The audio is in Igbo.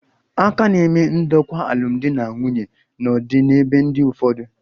A ka na-eme ndokwa alụmdi na nwunye n'ọdịbendị ụfọdụ